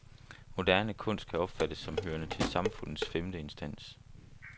Moderne kunst kan opfattes som hørende til samfundets femte instans.